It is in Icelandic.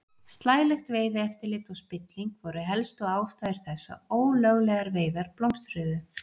Slælegt veiðieftirlit og spilling voru helstu ástæður þess að ólöglegar veiðar blómstruðu.